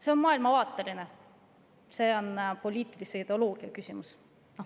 See on maailmavaateline, poliitilise ideoloogia küsimus.